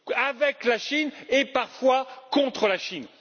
avec la Chine et, parfois, contre la Chine.